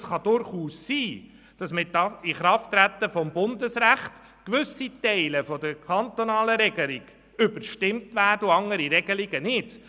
Es kann durchaus sein, dass mit dem Inkrafttreten des Bundesrechts gewisse Teile der kantonalen Regelung überstimmt werden und andere Teile nicht.